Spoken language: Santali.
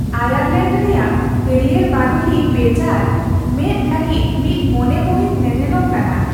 ᱟᱭᱟᱨᱞᱮᱱᱰ ᱨᱮᱭᱟᱜ ᱦᱟᱹᱨᱭᱟᱹᱲ ᱵᱟᱫᱳᱞᱤ ᱵᱮᱡᱟᱨ ᱢᱮᱫ ᱞᱟᱹᱜᱤᱫ ᱢᱤᱫ ᱢᱚᱱᱮ ᱢᱩᱦᱤᱛ ᱧᱮᱱᱮᱞᱚᱢ ᱠᱟᱱᱟ ᱾